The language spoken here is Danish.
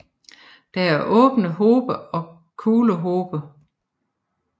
Der er åbne hobe og kuglehobe